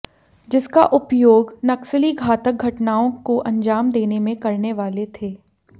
जिसका उपयोग नक्सली घातक धटनाओं को अंजाम देने में करने वाले थे